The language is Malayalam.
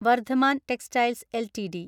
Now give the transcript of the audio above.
Vardhaman textiles LTD